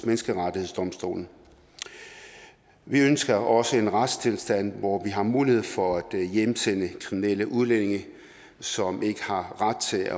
menneskerettighedsdomstolen vi ønsker også en retstilstand hvor vi har mulighed for at hjemsende kriminelle udlændinge som ikke har ret til at